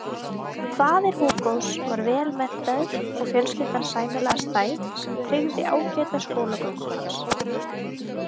Faðir Hugos var vel menntaður og fjölskyldan sæmilega stæð sem tryggði ágæta skólagöngu hans.